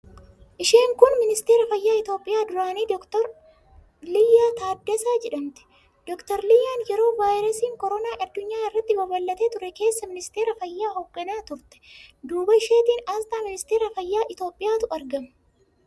Isheen kun ministeera fayyaa Itiyoophiyaa duraanii Dr. Liyyaa Taaddasee jedhamti. Dr. Liyyaan yeroo vaayirasiin koraanaa addunyaa irratti babal'atee ture keessa ministeera fayyaa hoogganaa turte. Duuba isheetiin aasxaa ministeera fayyaa Itiyoophiyaatu argama.